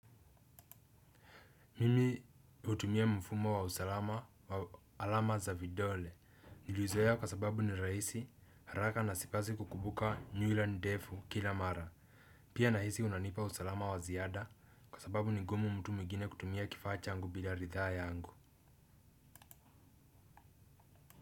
Mimi hutumia mfumo wa usalama wa alama za vidole. Niliuzoea kwa sababu ni rahisi haraka na sipaswi kukumbuka nywila ndefu kila mara. Pia nahisi unanipa usalama wa ziada kwa sababu ni ngumu mtu mwingine kutumia kifaa changu bila ridhaa yangu.